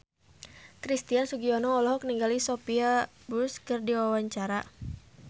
Christian Sugiono olohok ningali Sophia Bush keur diwawancara